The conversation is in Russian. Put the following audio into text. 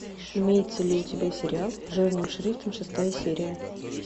имеется ли у тебя сериал жирным шрифтом шестая серия